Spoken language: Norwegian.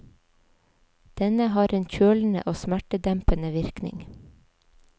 Denne har en kjølende og smertedempende virkning.